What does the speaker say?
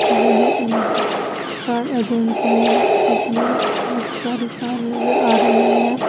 यह एक car agency है जिसमें बहुत सारी कार नजर आ रही है।